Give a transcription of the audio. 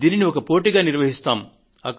దీనిని ఒక పోటీగా నిర్వహిస్తాము